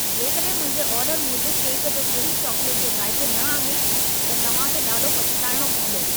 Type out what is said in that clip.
जेकॾहिं मुंहिंजे ऑर्डर मूजिबि केक जो सही चॉकलेट जो ज़ाइक़ो न आहे, त तव्हां खे ॾाढो पछिताइणो पवंदो।